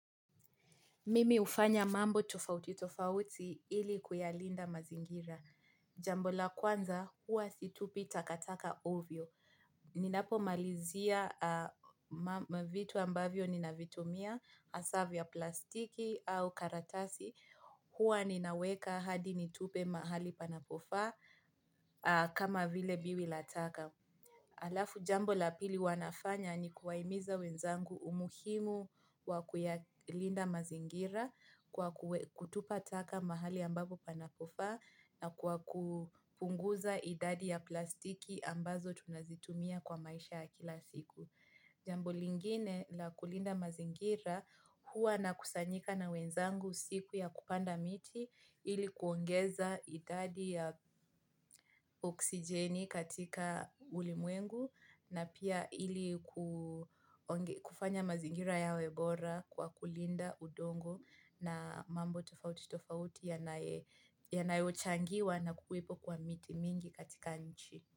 Mimi hufanya mambo tofauti tofauti ili kuyalinda mazingira. Jambo la kwanza huwa situpi takataka ovyo. Ninapomalizia vitu ambavyo ninavitumia hasa vya plastiki au karatasi huwa ninaweka hadi nitupe mahali panapofaa kama vile biwi la taka. Halafu jambo la pili huwa nafanya ni kuwahimiza wenzangu umuhimu wa kuyalinda mazingira kwa kutupa taka mahali ambapo panapofaa na kwa kupunguza idadi ya plastiki ambazo tunazitumia kwa maisha ya kila siku. Jambo lingine la kulinda mazingira huwa na kusanyika na wenzangu siku ya kupanda miti ili kuongeza idadi ya oksijeni katika ulimwengu na pia ili kufanya mazingira yawe bora kwa kulinda udongo na mambo tofauti tofauti yanayochangiwa na kuwepo kwa miti mingi katika nchi.